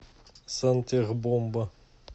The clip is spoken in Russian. сантехбомба